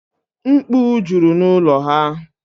Mkpu jụrụ n'ụlọ ha.